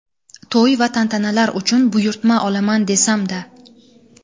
To‘y va tantanalar uchun buyurtma olaman desamda..